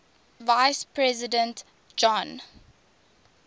vice president john